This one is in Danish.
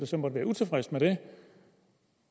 som måtte være utilfredse med det